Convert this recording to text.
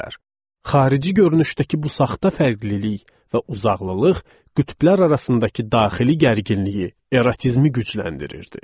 Xarici görünüşdəki bu saxta fərqlilik və uzaqlılıq qütblər arasındakı daxili gərginliyi, erotizmi gücləndirirdi.